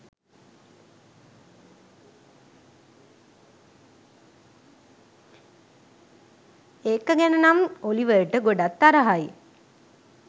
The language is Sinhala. එක ගැන නම් ඔලිවර්ට ගොඩක් තරහයි.